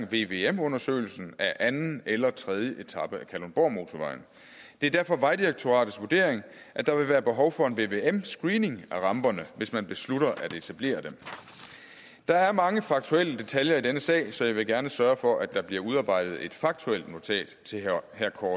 vvm undersøgelsen af hverken anden eller tredje etape af kalundborgmotorvejen det er derfor vejdirektoratets vurdering at der vil være behov for en vvm screening af ramperne hvis man beslutter at etablere dem der er mange faktuelle detaljer i denne sag så jeg vil gerne sørge for at der bliver udarbejdet et faktuelt notat til herre